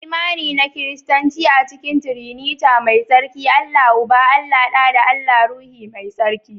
Imani na Kiristanci a cikin "Triniti" mai tsarki. Allah Uba, Allah Ɗa da Allah Ruhu Mai Tsarki